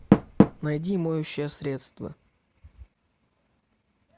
найди моющее средство